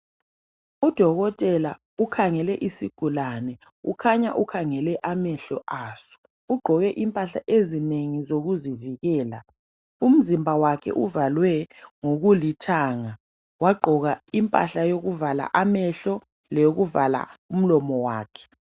Udokotela ukhangele isigulane, kukhanya ukhangele amehlo aso. Ugqoke impahla ezinengi ezokuzivikela. Umzimba wakhe uvalwe ngokulithanga, wagqoka impahla yokuvala amehlo leyokuvala umlomo wakhe.